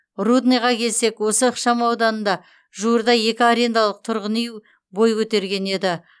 рудныйға келсек осы ықшамауданда жуырда екі арендалық тұрғын үй бой көтерген еді